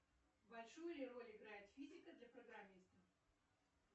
большую ли роль играет физика для программиста